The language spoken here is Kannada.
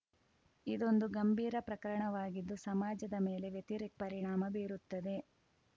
ಇದೊಂದು ಗಂಭೀರ ಪ್ರಕರಣವಾಗಿದ್ದು ಸಮಾಜದ ಮೇಲೆ ವ್ಯತಿರಿಕ್ತ ಪರಿಣಾಮ ಬೀರುತ್ತದೆ